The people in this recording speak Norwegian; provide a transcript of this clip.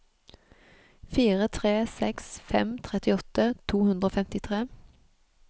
fire tre seks fem trettiåtte to hundre og femtitre